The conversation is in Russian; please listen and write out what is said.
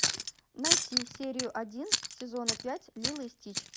найти серию один сезона пять лило и стич